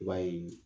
I b'a ye